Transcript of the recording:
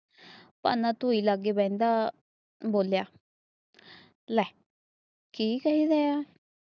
ਤਾਨਾ ਧੂਇ ਲਾਗੇ ਬਹਿੰਦਾ ਬੋਲਿਆ ਲੈ ਕੀ ਕਹਿ ਗਿਆ।